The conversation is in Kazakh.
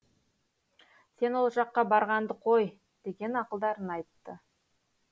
сен ол жаққа барғанды қой деген ақылдарын айтты